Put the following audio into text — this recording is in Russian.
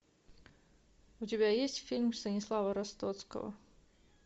у тебя есть фильм станислава ростоцкого